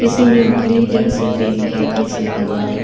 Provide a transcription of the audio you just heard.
کسی نے نیلی جرسی پہنی ہے۔ کسی نے لال --